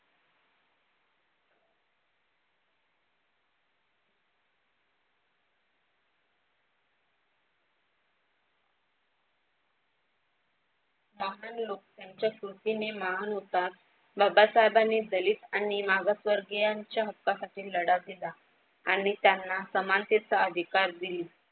ब्राह्मण लोक त्यांच्या स्तुतीने महान होतात. बाबा साहेबांनी दलित आणि मागासवर्गीयांच्या हक्कासाठी लढा दिला आणि त्यांना समानतेचा अधिकार दिली.